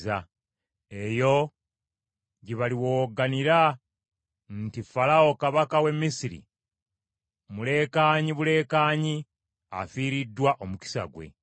Eyo gye baliwowogganira nti, ‘Falaawo kabaka w’e Misiri mulekaanyi bulekaanyi afiiriddwa omukisa gwe.’